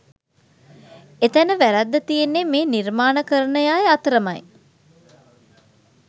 එතැන වැරැද්ද තියෙන්නෙ මේ නිර්මාණකරණ අය අතරමයි